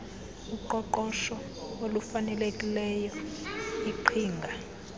uqoqosho olufanelekileyo iqhinga